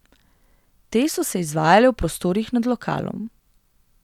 Te so se izvajale v prostorih nad lokalom.